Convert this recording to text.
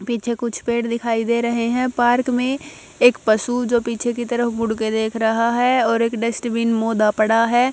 पीछे कुछ पेड़ दिखाई दे रहे है पार्क में एक पशु जो पीछे की तरफ मुड़ के देख रहा हैं और एक डस्टबिन मोदा पड़ा है।